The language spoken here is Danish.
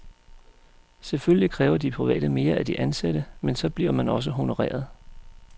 Selvfølgelig kræver de private mere af de ansatte, men så bliver man også honoreret.